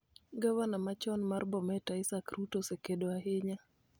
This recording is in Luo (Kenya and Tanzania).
Gavana machon mar Bomet, Isaac Ruto, osekedo ahinya